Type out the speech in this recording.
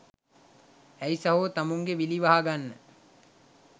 ඇයි සහෝ තමුංගෙ විලි වහගන්න